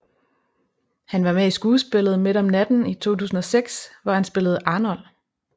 Han var med i skuespillet Midt om natten i 2006 hvor han spillede Arnold